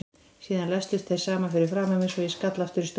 Síðan læstust þeir saman fyrir framan mig svo ég skall aftur í stólinn.